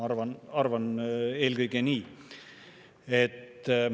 Ma arvan eelkõige nii.